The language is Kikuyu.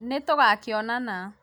nĩtũgakĩonana